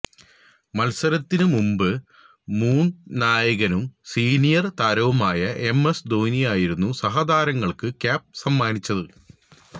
മത്സരത്തിനു മുമ്പ് മുന് നായകനും സീനിയര് താരവുമായ എംഎസ് ധോണിയായിരുന്നു സഹതാരങ്ങള്ക്ക് ക്യാപ്പ് സമ്മാനിച്ചത്